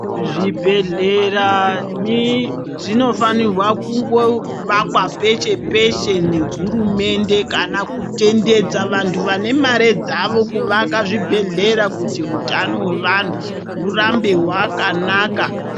Zvibhedhlera mi zvinofanirwa kungovakwa peshe peshe ne hurumende kana kutendedza vantu vane mare dzavo kuvaka zvibhedhlera kuti hutano hwevanhu hurambe hwakanaka.